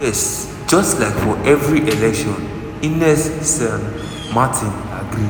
yes just like for every election" ines san martin agree.